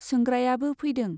सोंग्रायाबो फैदों।